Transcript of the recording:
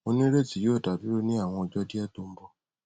mo nireti yoo da duro ni awọn ọjọ diẹ to n bọ